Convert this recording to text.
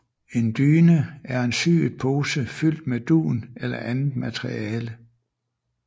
En dyne er en syet pose fyldt med dun eller andet materiale